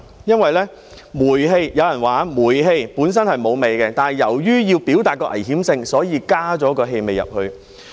有人說煤氣本身沒有氣味，但由於要表達危險性，所以加入了氣味。